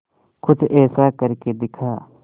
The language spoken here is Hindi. कुछ ऐसा करके दिखा